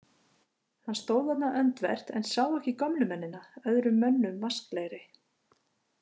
Hann stóð þarna öndvert en sá ekki gömlu mennina, öðrum mönnum vasklegri.